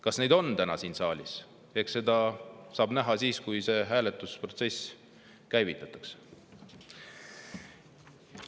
Kas neid on täna siin saalis, eks seda saab näha, kui see hääletusprotsess käivitatakse.